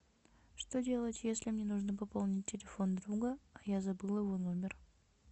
что делать если мне нужно пополнить телефон друга а я забыла его номер